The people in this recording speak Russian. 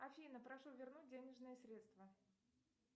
афина прошу вернуть денежные средства